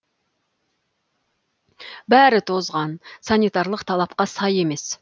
бәрі тозған санитарлық талапқа сай емес